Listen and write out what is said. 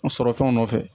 An sɔrɔ fɛnw nɔfɛ